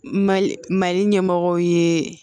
Mali mali ɲɛmɔgɔw ye